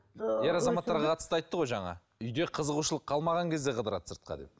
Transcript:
ер азаматтарға қатысты айтты ғой жаңа үйде қызығушылық қалмаған кезде қыдырады сыртқа деп